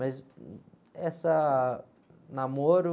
Mas essa.... Namoro...